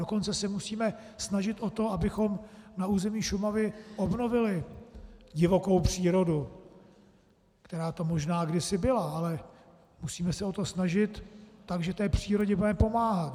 Dokonce se musíme snažit o to, abychom na území Šumavy obnovili divokou přírodu, která tu možná kdysi byla, ale musíme se o to snažit tak, že té přírodě budeme pomáhat.